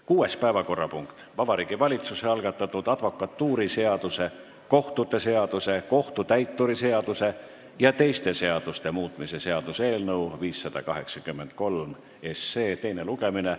Kuues päevakorrapunkt: Vabariigi Valitsuse algatatud advokatuuriseaduse, kohtute seaduse, kohtutäituri seaduse ja teiste seaduste muutmise seaduse eelnõu 583 teine lugemine.